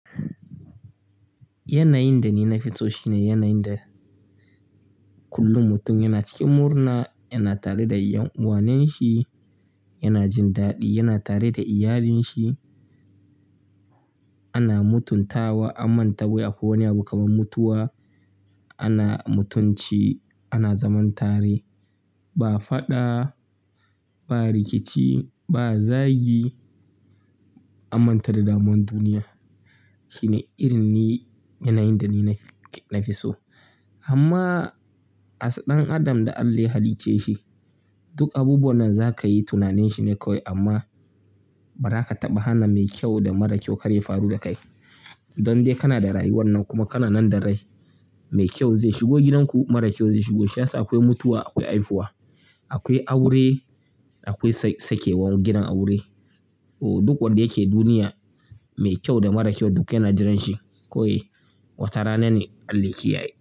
Yanayin da ni na fi so shi ne yanayin da kullum mutum yana cikin murna, yana tare da yan uwanen shi, yana jin daɗi, yana tare da iyalinsa. Ana mutuntawa, an manta wai akwai wani abu kamar mutuwa. Ana mutunci, ana zaman tare ba faɗa ba, rikici ba, zagi, anmanta da damuwan duniya. Shi ne irin yanayin da ni na fi so. Amma a as dan adam da Allah ya hallice shi, duk abubuwan nan za ka yi tunanin shi ne kawai amma ba za ka taɓa hana mai kyau da mara kyau kar ya faru da kai. Don dai kana da rayuwar nan kuma kana nan da rai. Mai kyau zai shigo gidanku, mara kyau zai shigo. Shiyasa akwai mutuwa, akwai haihuwa, akwai aure, akwai sa sakewar gidan aure. Duk wanda yake duniya, mai kyau da mara kyau duk yana jiransa. Kawai watarana ne Allah yake yaye.